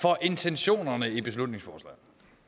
for intentionerne i beslutningsforslaget